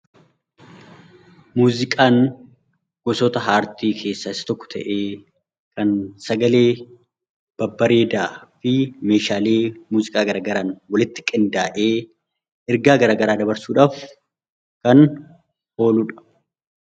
Muuziqaan gosoota aartii keessaa isa tokko ta'ee kan sagalee babbareedaa fi meeshaalee muuziqaa adda addaan walitti qindaa'ee ergaa gara garaa dabarsuudhaaf kan ooludha